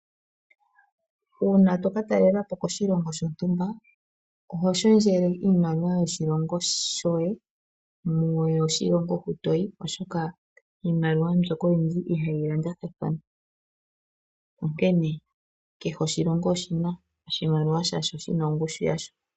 Uuna to katalelapo koshilongo shontumba Oho shendjele iimaliwa yoshilongo shoye mwaambi yoshilongo hoka toyi oshoka iimaliwa mbyoka oyindji ihayi landathana , onkene kehe oshilongo oshina oshimaliwa shaasho shina ongushu yasho.